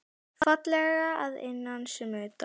Fallega að innan sem utan.